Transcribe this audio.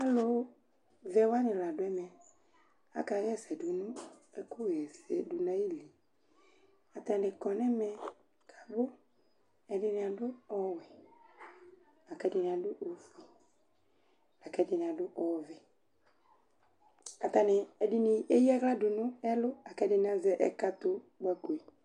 Alʋ vɛ wanɩ la dʋ ɛmɛ; akaɣɛsɛ dʋ nʋ ɛkʋ ɣɛsɛdʋ nayiliAtanɩ kɔ nɛmɛ, ɛdɩnɩ adʋ ɔwɛ, akɛdɩnɩ adʋ ofue ,akɛdɩnɩ adʋ ɔvɛAtanɩ ɛdɩnɩ eyǝaɣladʋ nʋ ɛlʋ ,akɛdɩnɩ azɛ ɛkatʋkpakoe